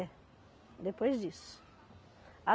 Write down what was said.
É, depois disso.